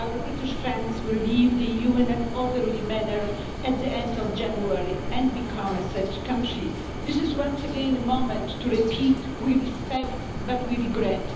Our British friends will leave the EU in an orderly manner at the end of January and become a third country. This is once again a moment to repeat we respect but we regret.